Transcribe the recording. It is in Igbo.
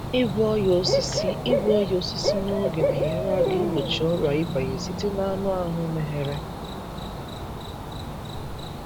Ịgwọ ọnyá osisi Ịgwọ ọnyá osisi n’oge na-enyere aka igbochi ọrịa ịbanye site n’anụ ahụ meghere.